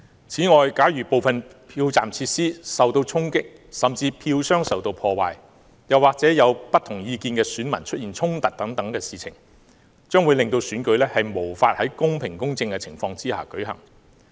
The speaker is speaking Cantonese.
此外，假如部分票站設施受衝擊，甚至票箱遭破壞，又或者有不同意見的選民出現衝突等，將會令選舉無法在公平、公正的情況下舉行。